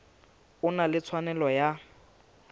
o na le tshwanelo ya